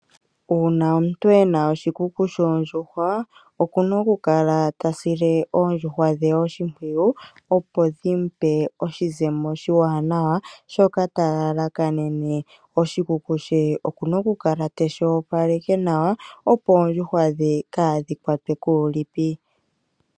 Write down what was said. Uuna omuntu ena oshikuku shoondjuhwa oku na okukala ta sile oondjuhwa dhe oshimpwiyu, opo dhi mu pe oshizemo oshiwanawa shoka ta lalakanene. Oshikuku she oku na okukala teshi opaleke nawa, opo oondjuhwa dhe kaadhi kwatwe kuulipi.